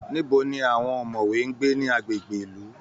Níbo ni àwọn ọ̀mọ̀wé ń gbé ní agbègbè ìlú?